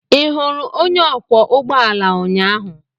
Ị hụrụ onye ọkwọ ụgbọ alaụnyaahụ?